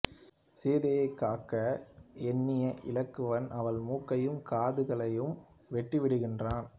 சீதையைக் காக்க எண்ணிய இலக்குவன் அவள் மூக்கையும் காதுகளையும் வெட்டிவிடுகிறான்